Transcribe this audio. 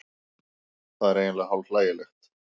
Það er eiginlega hálf hlægilegt